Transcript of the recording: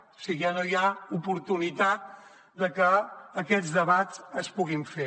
o sigui ja no hi ha oportunitat de que aquests debats es puguin fer